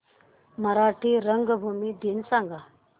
मराठी रंगभूमी दिन सांगा